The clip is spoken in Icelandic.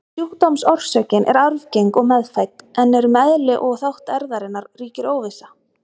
Sjúkdómsorsökin er arfgeng og meðfædd, en um eðli og þátt erfðarinnar ríkir óvissa.